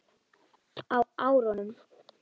Á árunum